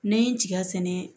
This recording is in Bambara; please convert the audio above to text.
N'an ye n tiga sɛnɛ